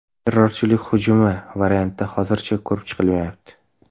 Terrorchilik hujumi varianti hozircha ko‘rib chiqilmayapti.